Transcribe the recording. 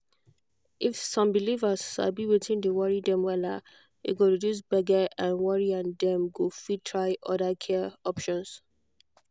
if some believers sabi wetin dey worry dem wella e go reduce gbege and worry and dem go fit try other care options.